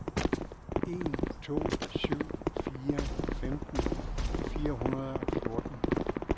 en to syv fire femten fire hundrede og fjorten